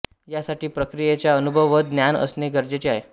यासाठि प्रक्रियेचा अनुभव व ज्ञान असणे गरजेचे आहे